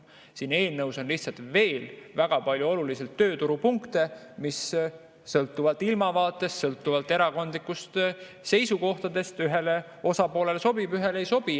Siin eelnõus on lihtsalt veel väga palju olulisi tööturupunkte, mis sõltuvalt ilmavaatest, sõltuvalt erakondlikest seisukohtadest ühele osapoolele sobivad, teisele ei sobi.